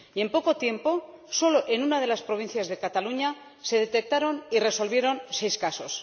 Y, en poco tiempo, solo en una de las provincias de Cataluña se detectaron y resolvieron seis casos.